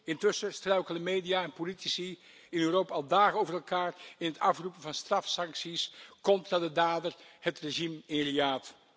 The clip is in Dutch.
Intussen struikelen media en politici in Europa al dagen over elkaar in het afroepen van strafsancties contra de dader, het regime in Riyad.